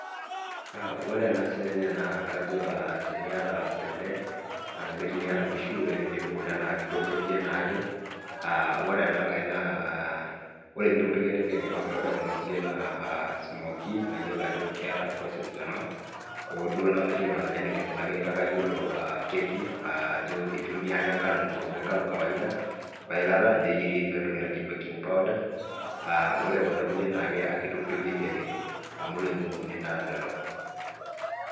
Ore ena sininye nakajo aa teniata kule ashu teniata nkishu ore pilepu kule naintokitokie naake aa ore enankae naa aa orepintokitokie nipik enkikompe, ore kuna kulie naa smokie na kayiolo ajo keeta process kuna ooduo namayiolo enikunakine kake kayiolo keki ajobitumia ake nkano, enkurma engano ake ekawaida weilata wentoki naji baking powder aa ore kunda kulie na kitoktokie ake amu naa lolok.